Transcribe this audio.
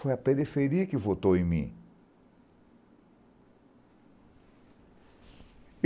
Foi a periferia que votou em mim.